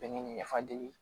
Bɛnɛ ni nafa deli